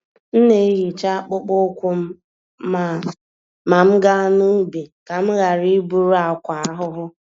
M na-ehicha akpụkpọ ụkwụ m ma m gaa n'ubi, ka m ghara iburu àkwá ahụhụ.